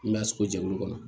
N b'a sogo jɛkulu kɔnɔ